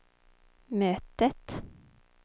mötet